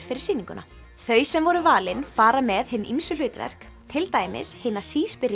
fyrir sýninguna þau sem voru valin fara með hin ýmsu hlutverk til dæmis hina